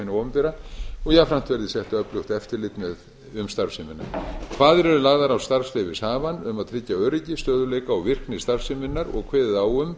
opinbera og jafnframt verði sett öflugt eftirlit um starfsemina kvaðir eru lagðar á starfsleyfishafann um að tryggja öryggi stöðugleika og virkni starfseminnar og kveðið á um